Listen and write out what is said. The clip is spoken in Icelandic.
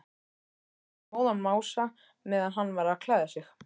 Lét móðan mása meðan hann var að klæða sig.